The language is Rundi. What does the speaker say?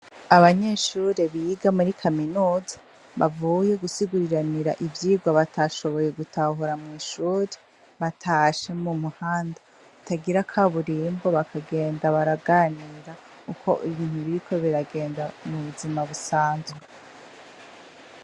Abanyeshure biga muri kaminuza bavuye gusiguriranira ivyirwa batashoboye gutahura mw'ishuri batashe mu muhanda ritagira kaburimbo, bakagenda baraganira uko ibintu biriko biragenda mu buzima busanzwe.